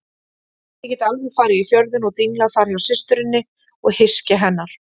Ég get alveg farið í Fjörðinn og dinglað þar hjá systurinni og hyski hennar.